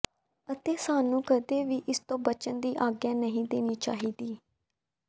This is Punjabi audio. ਅਤੇ ਸਾਨੂੰ ਕਦੇ ਵੀ ਇਸ ਤੋਂ ਬਚਣ ਦੀ ਆਗਿਆ ਨਹੀਂ ਦੇਣੀ ਚਾਹੀਦੀ